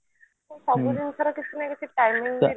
ତ ସବୁ ଜିନିଷ ର କିଛି ନା କିଛି timing